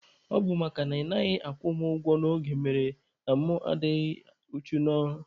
Ọ bụ makana ị naghị akwụ mụ ụgwọ n'oge mere na mụ anaghị adị uchu n'ọrụ.